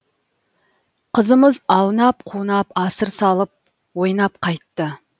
қызымыз аунап қунап асыр салып ойнап қайтты